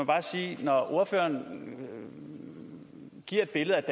bare sige at når ordføreren giver et billede af